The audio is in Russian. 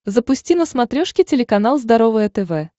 запусти на смотрешке телеканал здоровое тв